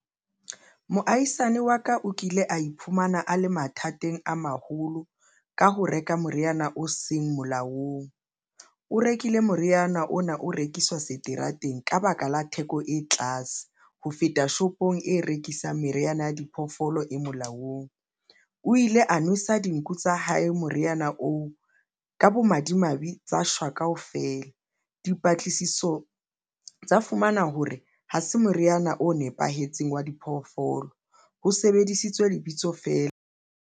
Moahisani wa ka o kile a iphumana a le mathateng a maholo. Ka ho reka moriana o seng molaong, o rekile moriana ona o rekiswa seterateng ka baka la theko e tlase ho feta shopong e rekisang meriana ya diphoofolo e molaong. O ile a nwesa dinku tsa hae moriana oo ka bomadimabe tsa shwa kaofela. Dipatlisiso tsa fumana hore ha se moriana o nepahetseng wa diphoofolo ho sebedisitswe lebitso feela.